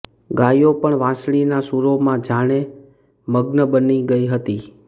ગાયો પણ વાંસળીના સૂરોમાં જાને મગ્ન બની ગઈ હતી